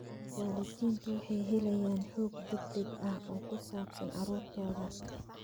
Waalidiintu waxay helayaan xog degdeg ah oo ku saabsan carruurtooda.